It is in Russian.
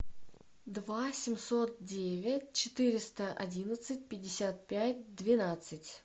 два семьсот девять четыреста одиннадцать пятьдесят пять двенадцать